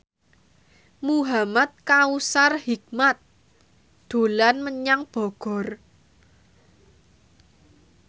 Muhamad Kautsar Hikmat dolan menyang Bogor